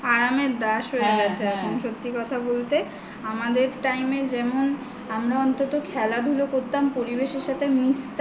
আরামের দাস হয়ে গেছে এখন সত্যি কথা বলতে আমাদের time এ যেমন আমরা অন্তত খেলা ধুলা করতাম পরিবেশের সাথে মিশতাম